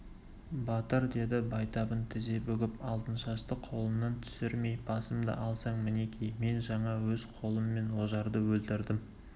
батыр деді байтабын тізе бүгіп алтыншашты қолынан түсірмей басымды алсаң мінекей мен жаңа өз қолыммен ожарды өлтірдім